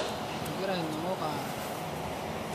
egira illoingok aara